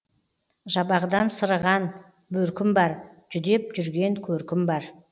жабағыдан сырыған бөркім бар жүдеп жүрген көркім бар